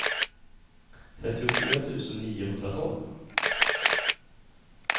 trettiofyra tusen niohundratolv